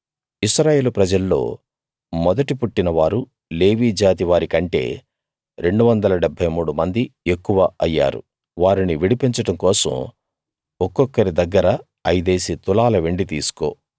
ఇశ్రాయేలు ప్రజల్లో మొదటి పుట్టినవారు లేవీ జాతి వారి కంటే 273 మంది ఎక్కువ అయ్యారు వారిని విడిపించడం కోసం ఒక్కొక్కరి దగ్గర ఐదేసి తులాల వెండి తీసుకో